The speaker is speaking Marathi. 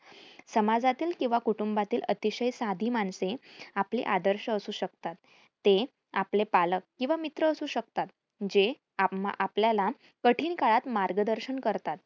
समाजातील किंवा कुटूंबातील अतिशय साधी माणसे आपले आदर्श असू शकतात. ते आपले पालक किंवा मित्र असू शकतात. जे आम्हां आपल्याला कठिण काळात मार्गदर्शन करतात.